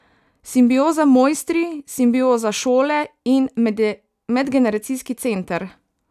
Simbioza mojstri, Simbioza šole in medgeneracijski center.